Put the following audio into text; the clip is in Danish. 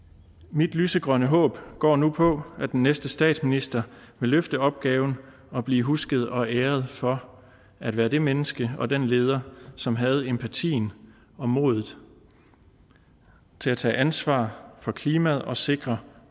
mit lysegrønne håb går nu på at den næste statsminister vil løfte opgaven og blive husket og æret for at være det menneske og den leder som havde empatien og modet til at tage ansvar for klimaet og sikre